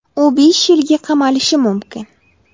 U besh yilga qamalishi mumkin .